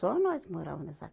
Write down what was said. Só nós morava nessa